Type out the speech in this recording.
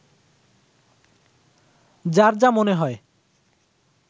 যার যা মনে হয়